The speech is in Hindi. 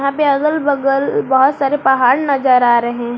यहां पे अगल बगल बहोत सारे पहाड़ नजर आ रहे--